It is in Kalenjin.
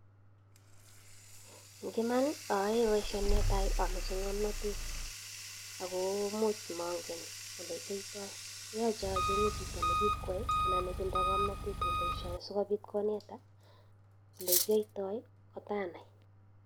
Ing iman ayae baishoni netai amache ng'amnatet ako much mangen ole kiyaito yache acheng'e chito nikikwai anan netindo ng'amnatet en baishani sikopit koneta ole kiyaitai kotanai.